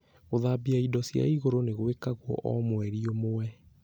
Gũthambia indo cia igũrũ nĩ gwĩkagwo o mweri ũmwe